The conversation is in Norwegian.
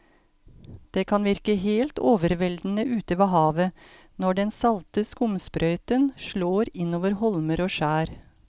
Det kan virke helt overveldende ute ved havet når den salte skumsprøyten slår innover holmer og skjær.